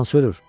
Hansı ölür?